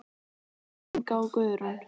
Inga og Guðrún.